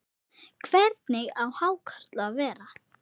Hvernig á hákarl að vera?